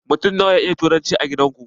Mutun na wa ya iya turanci a gidan ku?